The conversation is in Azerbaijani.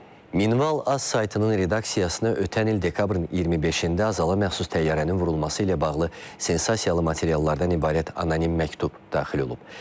Minval.az saytının redaksiyasına ötən il dekabrın 25-də Azala məxsus təyyarənin vurulması ilə bağlı sensasiyalı materiallardan ibarət anonim məktub daxil olub.